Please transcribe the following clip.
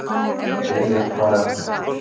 Viljar, hvað er að frétta?